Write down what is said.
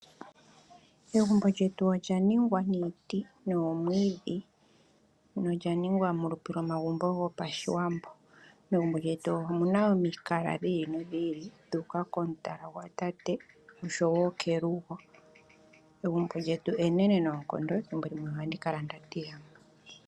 Egumbo lyetu olyaningwa niiti nomwiidhi . No lyaningwa molupe lomagumbo gopashiwambo . Megumbo lyetu omuna omikala dhi ili nodhi ili dhu uka komutala gwatate oshowo kelugo . Egumbo lyetu enenene noonkondo dhimbo limwe ohandi kala nda tila .